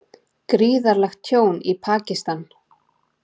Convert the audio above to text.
Gríðarlegt tjón í Pakistan